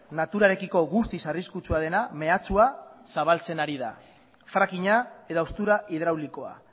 naturarekiko guztiz arriskutsua dena mehatxua zabaltzen ari da frackinga edo haustura hidraulikoa